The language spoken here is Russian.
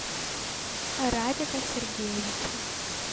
радика сергеевича